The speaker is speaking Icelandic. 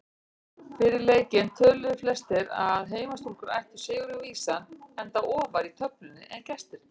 Fyrir leikinn töluðu flestir að heimastúlkur ættu sigurinn vísan enda ofar í töflunni en gestirnir.